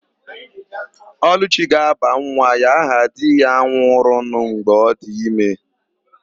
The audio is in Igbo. Ọlụchi ga-aba nwa ya aha di ya nwụrụnụ mgbe ọ dị ime.